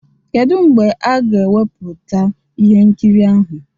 Kedu mgbe a ga-ewepụta ihe nkiri ahụ?